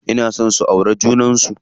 Ina so su auri junan su.